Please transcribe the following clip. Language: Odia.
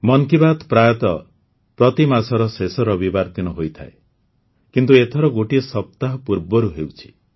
ମନ୍ କି ବାତ୍ ପ୍ରାୟତଃ ପ୍ରତି ମାସର ଶେଷ ରବିବାର ଦିନ ହୋଇଥାଏ କିନ୍ତୁ ଏଥର ଗୋଟିଏ ସପ୍ତାହ ପୂର୍ବରୁ ହେଉଛି